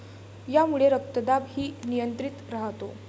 यामुळे रक्तदाब ही नियंत्रित राहतो.